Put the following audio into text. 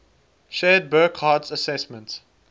shared burckhardt's assessment